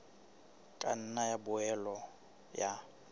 ka nna ya boela ya